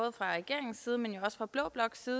så